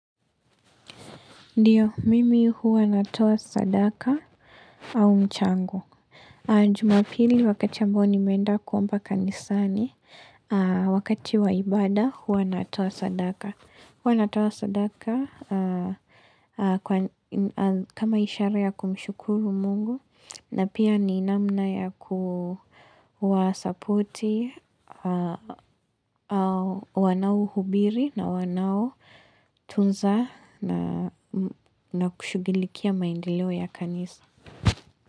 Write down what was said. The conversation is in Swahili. Ndiyo, mimi huwa natoa sadaka au mchangu. Jumapili wakati ambao nimeenda kuomba kanisani, wakati wa ibada huwa natoa sadaka. Huwa natoa sadaka kama ishara ya kumshukuru mungu na pia ni namna ya kuwasapoti wanaohubiri na wanaotunza na kushugilikia maendeleo ya kanisa.